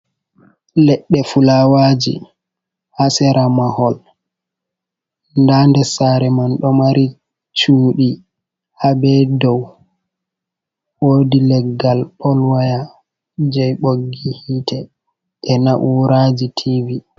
Leɗɗe fulawaji haa sera mahol. Nda nder saare man ɗo mari cuɗi haa be dow. Woodi leggal pol waya jei ɓoggi hiite jei na'uraji TV.